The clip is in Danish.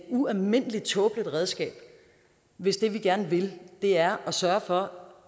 ualmindelig tåbeligt redskab hvis det vi gerne vil er at sørge for